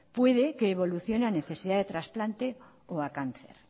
puede que evoluciones a necesidad de trasplante o a cáncer